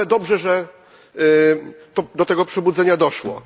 Ale dobrze, że do tego przebudzenia doszło.